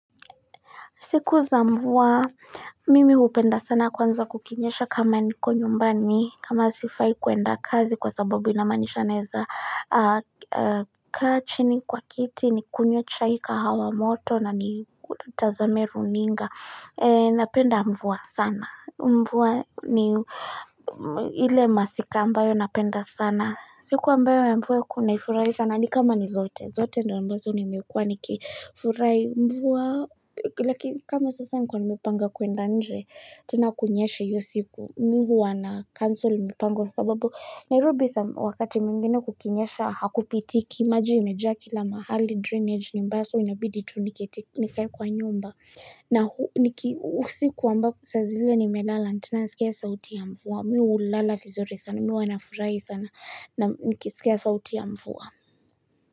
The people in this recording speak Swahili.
Siku za mvua, mimi hupenda sana kwanza kukinyesha kama niko nyumbani, kama sifai kwenda kazi kwa sababu inamaanisha naweza kaa chini kwa kiti, nikunywe chai kahawa moto na nitazame runinga. Napenda mvua sana. Mvua ni ile masika ambayo napenda sana. Siku ambayo ya mvua hunifurahisha ni kama ni zote. Zote ndio ambazo nimekuwa nikifurahi mvua. Lakini kama sasa nilikuwa nimepanga kwenda nje. Tena kunyeshe hiyo siku mimi huwa nacancel mipango sababu. Nairobi wakati mwingine kukinyesha hakupitiki. Maji yamejaa kila mahali drainage ni mbaya so inabidi tu nikae kwa nyumba. Na usiku ambao saa zile nimelala. Tena nasikia sauti ya mvua. Mimi hulala vizuri sana. Mimi huwa nafurahi sana. Nikisikia sauti ya mvua.